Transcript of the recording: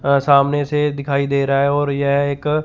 और सामने से दिखाई दे रहा है और यह एक --